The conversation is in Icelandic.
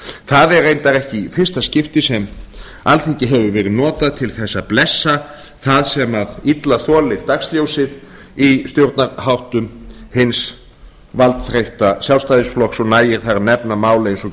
það er reyndar ekki í fyrsta skipti sem alþingi hefur verið notað til þess að blessa það sem illa þolir dagsljósið í stjórnarháttum hins valdþreytta sjálfstæðisflokks og nægir þar að nefna mál eins og